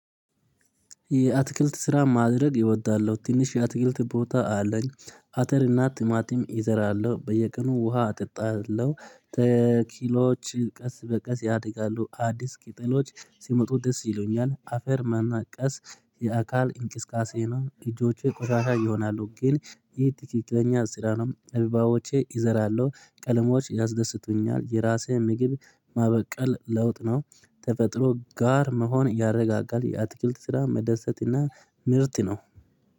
የአትክልት ስራ ማድረግ ኢወዳለው ትንሽ የአትክልት ቦታ አለኝ አተር እና ቲማቲም ኢዘራለሁ በየቀኑ ውሃ አጠጣለሁ። ተኪሎች ቀስ በቀስ ያድጋሉ አዲስ ቂጠሎች ሲመጡ ደስ ይሉኛል። አፈር መነቀስ የአካል እንቅስቃሴ ነው። ኢጆቼ ቁሻሻ ይሆናሉ ግን ይህ ትክክለኛ ስራ ነው ኢበባዎቼ እዘራለሁ። ቀለሞች ያስደስቱኛል የራሴ ምግብ ማበቀል ለውጥ ነው። ተፈጥሮ ጋር መሆን ያረጋጋል የአትክልት ስራ መደሰት እና ምርት ነው።